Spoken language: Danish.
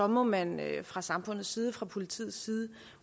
må man fra samfundets side fra politiets side